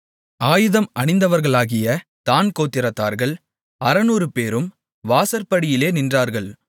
ஆயுதம் அணிந்தவர்களாகிய தாண் கோத்திரத்தார்கள் 600 பேரும் வாசற்படியிலே நின்றார்கள்